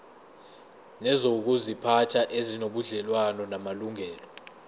nezokuziphatha ezinobudlelwano namalungelo